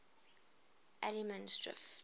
allemansdrift